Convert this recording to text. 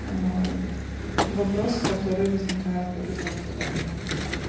вопросы которые возникают у ребёнка в данный момент